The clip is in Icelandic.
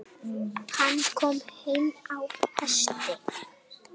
Hann kom einn á hesti.